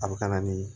A bɛ ka na ni